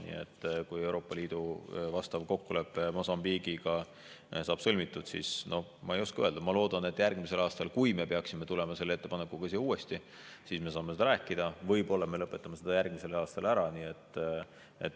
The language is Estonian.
Nii et kui Euroopa Liidu vastav kokkulepe Mosambiigiga saab sõlmitud, siis, ma ei oska öelda, ma loodan, et järgmisel aastal, kui me peaksime tulema selle ettepanekuga siia uuesti, me saame seda rääkida, võib-olla me lõpetame selle järgmisel aastal ära.